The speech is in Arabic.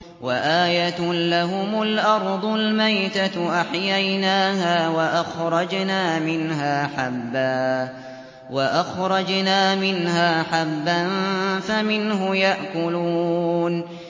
وَآيَةٌ لَّهُمُ الْأَرْضُ الْمَيْتَةُ أَحْيَيْنَاهَا وَأَخْرَجْنَا مِنْهَا حَبًّا فَمِنْهُ يَأْكُلُونَ